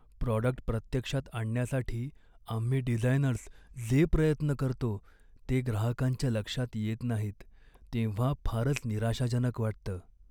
Product प्रत्यक्षात आणण्यासाठी आम्ही डिझायनर्स जे प्रयत्न करतो ते ग्राहकांच्या लक्षात येत नाहीत तेव्हा फारच निराशाजनक वाटतं.